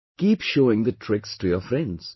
Keep showing the tricks to your friends